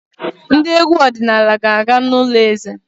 Ndị egwu ọdịnala ga-aga n'ụlọ eze.